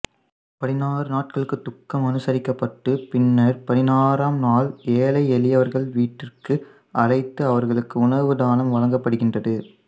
பதினாறு நாட்களுக்கு துக்கம் அனுசரிக்கப்பட்டு பின்னர் பதினாறாம் நாள் ஏழை எளியவர்களை வீட்டிற்கு அழைத்து அவர்களுக்கு உணவு தானம் வழங்கபடுகின்றது